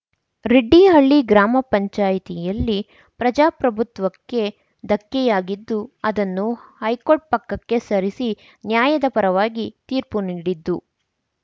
ರೆಡ್ಡಿಹಳ್ಳಿ ಗ್ರಾಮಪಂಚಾಯ್ತಿಯಲ್ಲಿ ಪ್ರಜಾಪ್ರಭುತ್ವಕ್ಕೆ ಧಕ್ಕೆಯಾಗಿದ್ದು ಅದನ್ನು ಹೈಕೋರ್ಟ್ ಪಕ್ಕಕ್ಕೆ ಸರಿಸಿ ನ್ಯಾಯದ ಪರವಾಗಿ ತೀರ್ಪು ನೀಡಿದ್ದು